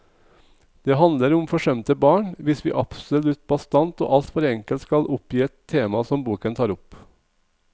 Det handler om forsømte barn, hvis vi absolutt bastant og alt for enkelt skal oppgi et tema som boken tar opp.